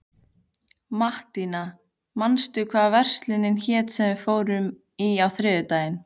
Mattíana, manstu hvað verslunin hét sem við fórum í á þriðjudaginn?